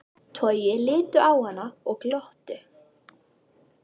Toggi litu á hann og glottu.